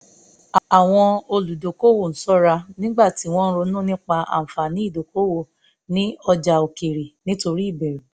àwọn olùdókòwò ń ṣọ́ra nígbà tí wọ́n ronú nípa àǹfààní ìdókòwò ní ọjà òkèèrè nítorí ìbẹ̀rù